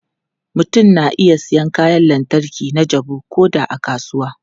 Mutum na iya siyan kayan lantarki na jabu ko da a kasuwa.